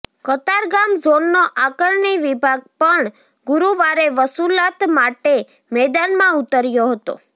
કતારગામ ઝોનનો આકારણી વિભાગ પણ ગુરુવારે વસૂલાત માટે મેદાનમાં ઉતર્યો હતો